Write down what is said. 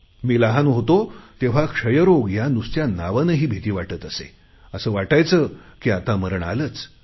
मी लहान होतो तेव्हा क्षयरोग या नुसत्या नावानेही भिती वाटायचे असे वाटायचे की आता मरण आलेच